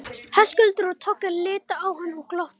Höskuldur og Toggi litu á hann og glottu.